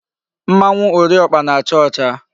Mmanwu Ori okpa na-acha ocha